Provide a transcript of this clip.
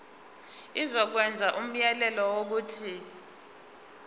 izokwenza umyalelo wokuthi